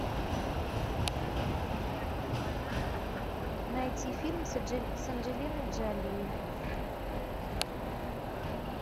найти фильм с анджелиной джоли